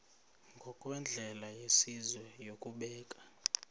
ngokwendlela yesizwe yokubeka